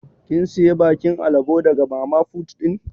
Kin siya bakin alabo daga mama fut din?